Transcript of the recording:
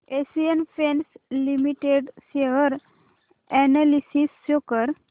Asian paints limited share analysis show कर